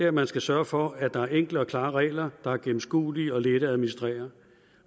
at man skal sørge for at der er enkle og klare regler der er gennemskuelige og lette at administrere man